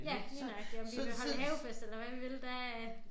Ja lige nøjagtig om vi vil holde havefest eller hvad vi vil der er